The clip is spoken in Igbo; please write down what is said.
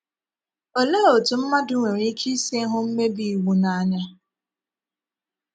Òlee otú mmadụ nwere ike isi hụ mmèbí iwu n’ànya?